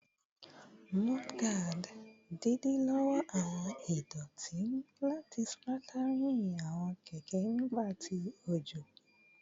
Mudguards idilọwọ awọn idoti lati splattering awọn keke nigba ti ojo